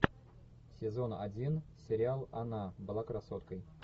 сезон один сериал она была красоткой